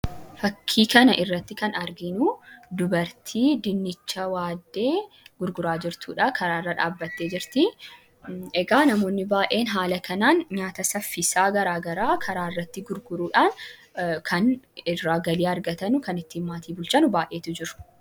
Fakkii kana irratti kan arginu, dubartii dinnicha waaddee gurguraa jirtudha, karaa irra dhaabbattee jirtii, namoonni baayyeen nyaata saffisaa haala kanaan garaagaraa karaa irratti gurguruudhaan kan irraa galii argatan, kan ittiin maatii bulchan baayyeetu jiru .